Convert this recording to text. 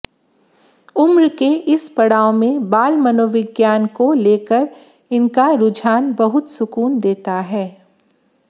उम्र के इस पड़ाव में बाल मनोविज्ञान को लेकर इनका रुझान बहुत सुकून देता है